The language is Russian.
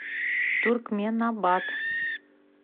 туркменабат